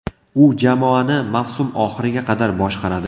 U jamoani mavsum oxiriga qadar boshqaradi.